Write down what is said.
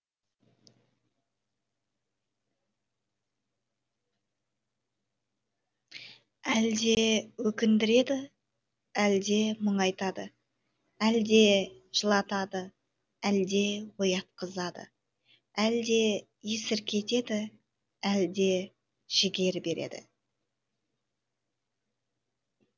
әлде өкіндіреді әлде мұңайтады әлде жылатады әлде оятқызады әлде есіркетеді әлде жігер береді